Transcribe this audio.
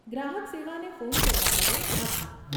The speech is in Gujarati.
ગ્રાહક સેવાને ફોન કરવા બદલ આભાર.